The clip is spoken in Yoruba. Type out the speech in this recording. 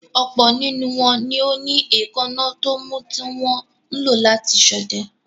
Ọ̀pọ̀ nínú wọn ni ó ní èékánná tómú tí wọn ń lò láti ṣọdẹ.